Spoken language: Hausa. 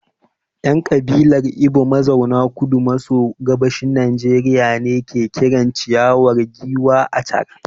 ‘Yan kabilar Igbo mazauna Kudu maso Gabashin Najeriya ne ke kiran ciyawa giwa ‘achara’